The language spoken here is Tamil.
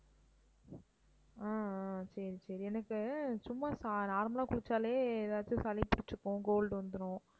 ஆஹ் ஆஹ் சரி சரி எனக்கு சும்மா ச~ normal குளிச்சாலே ஏதாச்சு சளி பிடிச்சுக்கும் cold வந்துரும்